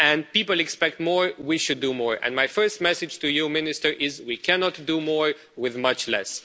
People expect more, and we should do more. My first message to you, Minister, is that we cannot do more with much less.